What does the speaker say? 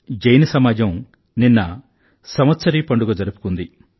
జైన సమాజం నిన్న సంవత్సరీ పండుగ జరుపుకుంది